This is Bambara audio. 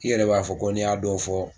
I yɛrɛ b'a fɔ ko n'i y'a dɔw fɔ